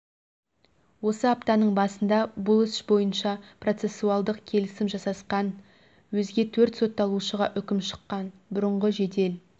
осы аптаның басында бұл іс бойынша процессуалдық келісім жасасқан өзге төрт сотталушыға үкім шыққан бұрынғы жедел